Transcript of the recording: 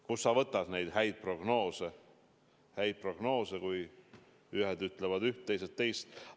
Kust sa võtad neid häid prognoose, kui ühed ütlevad üht, teised teist?